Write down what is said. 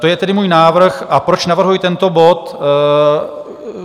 To je tedy můj návrh a proč navrhuji tento bod?